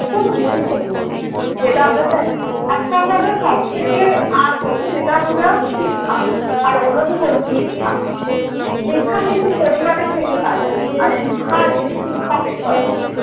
অত্যন্ত গুরুত্বপূর্ণ। যেটা আমরা জানি একটা হলো সব থেকে আগে যেটা কী না শিক্ষা আর অন্যটি হলো দীক্ষা। দীক্ষা কিন্তু পরিবারের থেকে পাই আমরা, আর শিক্ষা আসে শিক্ষকের তরফে।